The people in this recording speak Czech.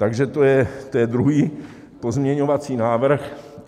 Takže to je druhý pozměňovací návrh.